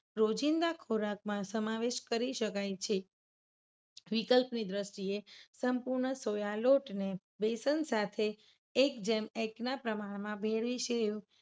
રોજિંદા ખોરાક માં સમાવેશ કરી શકાય છે. વિકલ્પ ની દ્રષ્ટિએ સંપૂર્ણ સોયા લોટને બેસન સાથે એક જેમ એકના પ્રમાણમાં ભેળવી સેવ